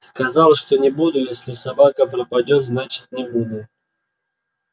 сказал что не буду если собака пропадёт значит не буду